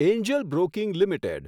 Angel Broking limited